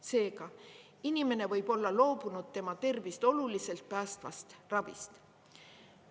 Seega, inimene võib olla loobunud tema tervist oluliselt päästvast ravist.